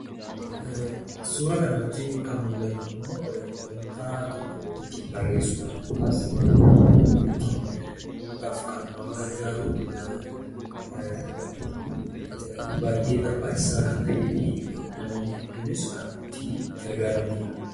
Suura kana irratti kan mul'atu immoo, wanta tokko ittiin barreessuudhaaf yookaan ittiin uumuudhaaf kan nama gargaaru, baay'ee barbaachisaa kan ta'eefi namoonni hedduunis kan itti gargaaramaniidha.